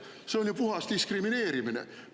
See on ju puhas diskrimineerimine!